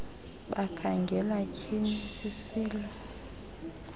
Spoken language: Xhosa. bakhangela tyhiinil sisilo